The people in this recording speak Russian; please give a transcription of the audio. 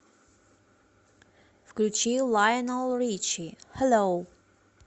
включи лайнел ричи хеллоу